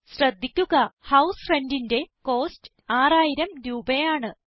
ശ്രദ്ധിക്കുക ഹൌസ് Rentന്റെ കോസ്റ്റ് 6000 രൂപയാണ്